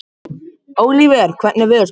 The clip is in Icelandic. Ólíver, hvernig er veðurspáin?